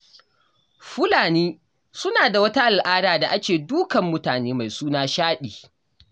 Fulani suna da wata al'ada da ake dukan mutane mai suna shaɗi.